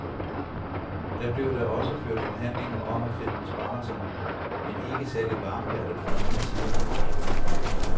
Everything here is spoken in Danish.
Der blev da også ført forhandlinger om at finde besparelserne, men ikke særlig varmhjertet fra nogen af siderne.